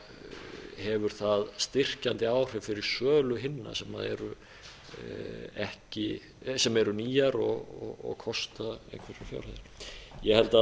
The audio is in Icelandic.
þá hefur það styrkjandi áhrif fyrir sölu hinna sem eru nýjar og kosta umtalsverðar fjárhæðir ég held